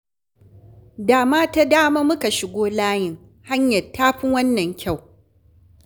Da ma ta dama muka shigo layin, hanyar ta fi wannan kyau